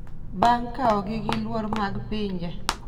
bang’ kaogi gi luor mag pinje.